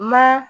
Ma